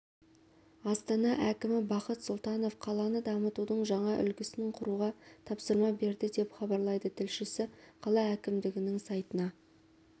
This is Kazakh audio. астана әкімі бақыт сұлтановқаланы дамытудың жаңа үлгісін құруға тапсырма берді деп хабарлайды тілшісі қала әкімдігінің сайтына